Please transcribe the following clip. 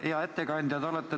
Hea ettekandja!